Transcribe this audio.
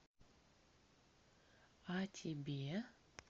а тебе